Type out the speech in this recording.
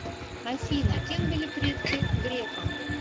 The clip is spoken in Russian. афина кем были предки грефа